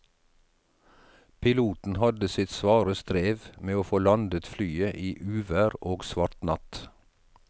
Piloten hadde sitt svare strev med å få landet flyet i uvær og svart natt.